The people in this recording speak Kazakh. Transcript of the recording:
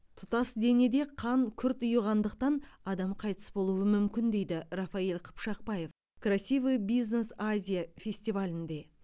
тұтас денеде қан күрт ұйығандықтан адам қайтыс болуы мүмкін дейді рафаиль қыпшақбаев красивый бизнес азия фестивалінде